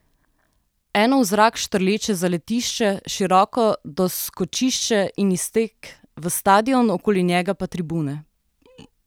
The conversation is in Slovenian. Eno v zrak štrleče zaletišče, široko doskočišče in iztek v stadion, okoli njega pa tribune.